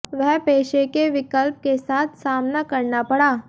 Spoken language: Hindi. वह पेशे के विकल्प के साथ सामना करना पड़ा